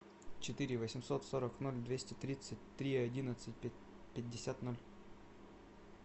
четыре восемьсот сорок ноль двести тридцать три одиннадцать пятьдесят ноль